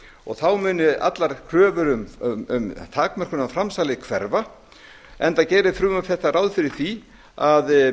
og þá muni allar kröfur um takmörkun á framsali hverfa enga gerir frumvarp þetta ráð fyrir því að